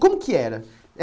Como que era?